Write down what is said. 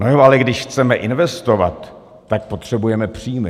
No jo, ale když chceme investovat, tak potřebujeme příjmy.